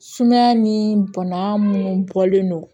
Sumaya ni bana minnu bɔlen no